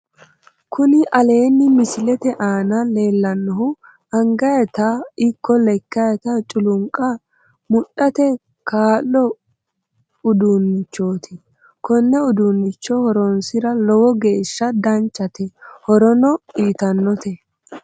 Kuni aleenni misilete aana leellannohu angaytano ikko lekkayta culuunqa mudhate kaa'lo uduunnichooti konne uduunnicho horonsira lowo geeshsha danchate horono uyitannote